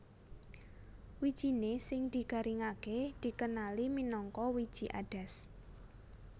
Wijiné sing digaringaké dikenali minangka wiji adas